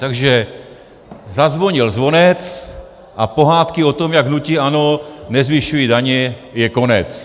Takže zazvonil zvonec a pohádky o tom, jak hnutí ANO nezvyšuje daně, je konec.